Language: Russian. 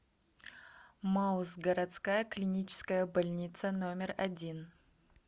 мауз городская клиническая больница номер один